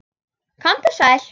Komdu sæl.